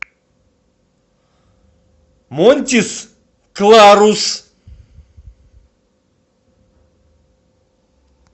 монтис кларус